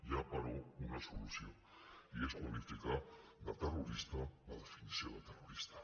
hi ha però una solució i és qualificar de terrorista la definició de terrorista